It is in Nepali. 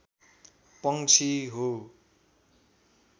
पंक्षी हो